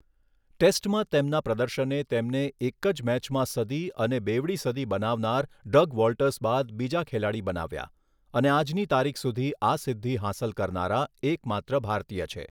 ટેસ્ટમાં તેમના પ્રદર્શને તેમને એક જ મૅચમાં સદી અને બેવડી સદી બનાવનાર ડગ વૉલ્ટર્સ બાદ બીજા ખેલાડી બનાવ્યા અને આજની તારીખ સુધી આ સિદ્ધિ હાંસલ કરનારા એકમાત્ર ભારતીય છે.